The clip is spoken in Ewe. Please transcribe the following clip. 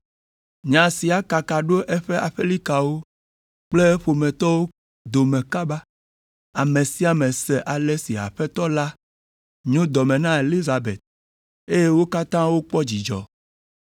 Nya sia kaka ɖo eƒe aƒelikawo kple ƒometɔwo dome kaba, ame sia ame se ale si Aƒetɔ la nyo dɔ me na Elizabet, eye wo katã wokpɔ dzidzɔ.